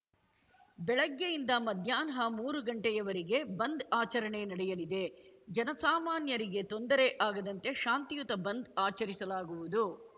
ಬೆಳಗ್ಗೆಯಿಂದ ಮಧ್ಯಾಹ್ನ ಮೂರು ಗಂಟೆಯವರಿಗೆ ಬಂದ್‌ ಆಚರಣೆ ನಡೆಯಲಿದೆ ಜನಸಾಮಾನ್ಯರಿಗೆ ತೊಂದರೆ ಆಗದಂತೆ ಶಾಂತಿಯುತ ಬಂದ್‌ ಆಚರಿಸಲಾಗುವುದು